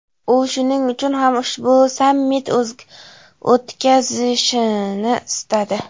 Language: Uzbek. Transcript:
U shuning uchun ham ushbu sammit o‘tkazilishini istadi.